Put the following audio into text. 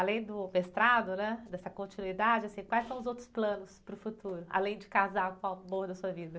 Além do mestrado, né? Dessa continuidade, assim, quais são os outros planos para o futuro, além de casar com o amor da sua vida?